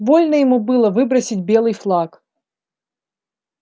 больно ему было выбросить белый флаг